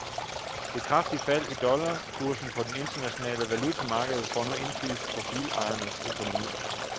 Det kraftige fald i dollarkursen på det internationale valutamarked får nu indflydelse på bilejernes økonomi.